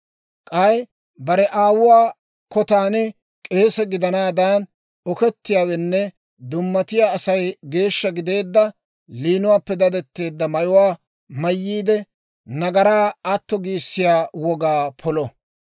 K'ay bare aawuwaa kotaan k'eese gidanaadan okettiyaawenne dummatiyaa Asay geeshsha gideedda liinuwaappe dadetteedda mayuwaa mayyiide, nagaraa atto giissiyaa wogaa polo.